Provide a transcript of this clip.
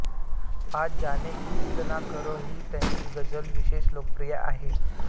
आज जाने की ज़िद ना करो ही त्यांची गझ़ल विशेष लोकप्रिय आहे